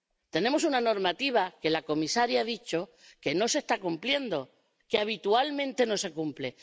Tenemos una normativa que la comisaria ha dicho que no se está cumpliendo, que habitualmente no se cumple.